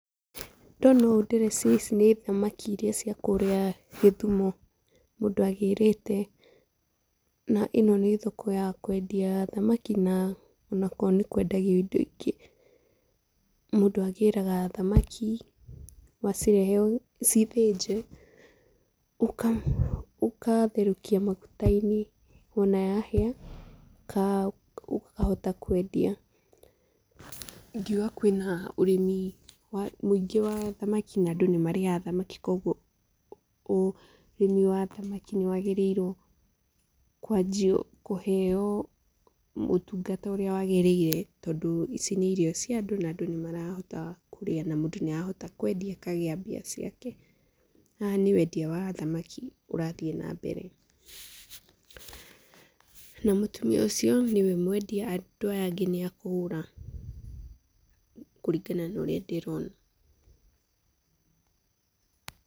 Ndona ũũ ndĩreciria ici nĩ thamaki iria cia kũrĩa Gĩthumo mũndũ agĩrĩte. Na ĩno nĩ thoko ya kũendia thamaki na onokorwo nĩ kũendagio indo ingĩ. Mũndũ agĩraga thamaki, wacirehe ciĩ thĩnje ũgatherũkia maguta-inĩ. Wona yahĩa ũkahota kwendia. Ingiuga kwĩna ũrĩmi mũingĩ wa thamaki na andũ nĩmarĩaga thamaki kogwo ũrĩmi wa thamaki nĩ wagĩrĩirwo kwanjio kũheo ũtungata ũria wagĩrĩire tondũ ici nĩ irio cia andũ na andũ nĩmarahota kũrĩa na mũndũ nĩ arahota kwendia akagĩa mbia ciake. Haha ni wendia wa thamaki ũrathiĩ na mbere. Na mũtumia ũcio nĩ we mwendia. Andũ aya angĩ nĩ a kũgũra kũrigana na ũrĩa ndĩrona.